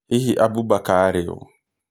Hihi Abu Mbaka arĩ ũũ?